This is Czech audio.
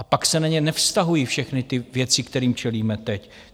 A pak se na ně nevztahují všechny ty věci, kterým čelíme teď.